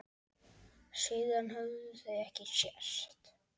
Síðan höfðu þau ekki sést.